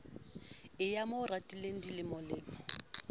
eo a mo ratileng dilemolemo